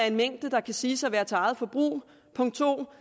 en mængde der kan siges at være til eget forbrug og punkt to